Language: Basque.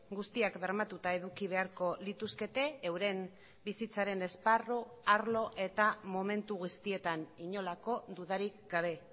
guztiak bermatuta eduki beharko lituzkete euren bizitzaren esparru arlo eta momentu guztietan inolako dudarik gabe